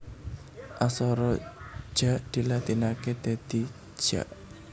Aksara Ja dilatinaké dadi Ja